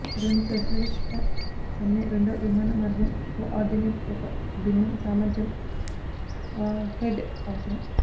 అటువంటి శస్త్రచికిత్స సమ్మె రెండో విమాన మార్గం కోఆర్డినేట్ ఒక భిన్నం సామర్థ్యం వార్హెడ్ అవసరం